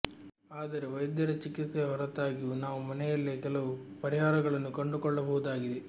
ಆದರೆ ವೈದ್ಯರ ಚಿಕಿತ್ಸೆಯ ಹೊರತಾಗಿಯೂ ನಾವು ಮನೆಯಲ್ಲೇ ಕೆಲವು ಪರಿಹಾರಗಳನ್ನು ಕಂಡುಕೊಳ್ಳಬಹುದಾಗಿದೆ